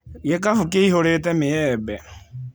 Gĩkabũ kĩihũrĩte mĩembe.